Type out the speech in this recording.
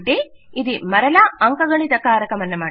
అంటే ఇది మరలా అంకగణిత కారకము